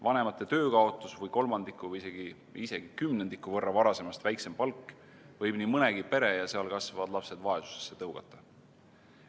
Vanemate töö kaotus või kolmandiku või isegi kümnendiku võrra varasemast väiksem palk võib nii mõnegi pere ja seal kasvavad lapsed vaesusesse tõugata.